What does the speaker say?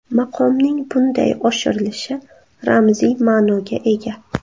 Maqomning bunday oshirilishi ramziy ma’noga ega.